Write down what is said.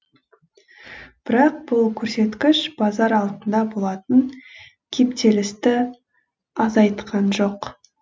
бірақ бұл көрсеткіш базар алдында болатын кептелісті азайтқан жоқ